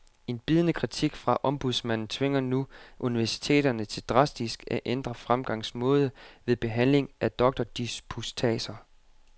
En bidende kritik fra ombudsmanden tvinger nu universiteterne til drastisk at ændre fremgangsmåde ved behandling af doktordisputatser.